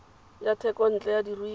ya thekontle ya diruiwa e